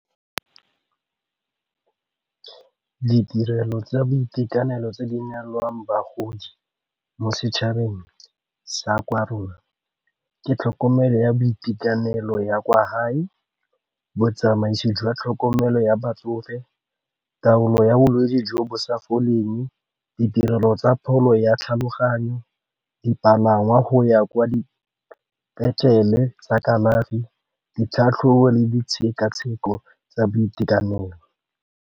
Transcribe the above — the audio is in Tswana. Ditirelo tsa boitekanelo tse di neelwang bagodi mo setšhabeng sa kwa rona ke tlhokomelo ya boitekanelo ya kwa gae, botsamaisi jwa tlhokomelo ya batsofe, taolo ya bolwetsi jo bo sa foleng, ditirelo tsa pholo ya tlhaloganyo, dipalangwa go ya kwa dipetlele tsa kalafi, ditlhatlhobo le ditshekatsheko tsa boitekanelo.